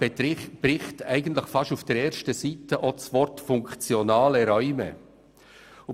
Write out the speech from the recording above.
Im Bericht findet sich fast auf der ersten Seite der Begriff «funktionale Räume».